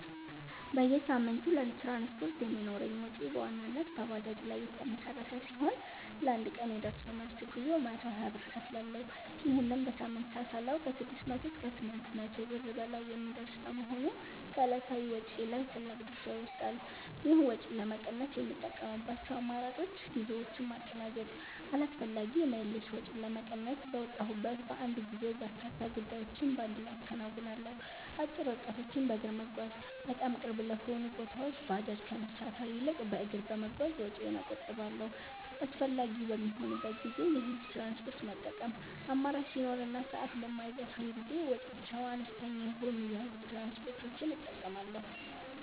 በየሳምንቱ ለትራንስፖርት የሚኖረኝ ወጪ በዋናነት በባጃጅ ላይ የተመሠረተ ሲሆን፣ ለአንድ ቀን የደርሶ መልስ ጉዞ 120 ብር እከፍላለሁ። ይህንን በሳምንት ስናሰላው ከ600 እስከ 800 ብር በላይ የሚደርስ በመሆኑ ከዕለታዊ ወጪዬ ላይ ትልቅ ድርሻ ይወስዳል። ይህን ወጪ ለመቀነስ የምጠቀምባቸው አማራጮች፦ ጉዞዎችን ማቀናጀት፦ አላስፈላጊ የምልልስ ወጪን ለመቀነስ፣ በወጣሁበት በአንድ ጉዞ በርካታ ጉዳዮችን በአንድ ላይ አከናውናለሁ። አጭር ርቀቶችን በእግር መጓዝ፦ በጣም ቅርብ ለሆኑ ቦታዎች ባጃጅ ከመሳፈር ይልቅ በእግር በመጓዝ ወጪዬን እቆጥባለሁ። አስፈላጊ በሚሆንበት ጊዜ የህዝብ ትራንስፖርት መጠቀም፦ አማራጭ ሲኖር እና ሰዓት በማይገፋኝ ጊዜ ወጪያቸው አነስተኛ የሆኑ የህዝብ ትራንስፖርቶችን እጠቀማለሁ።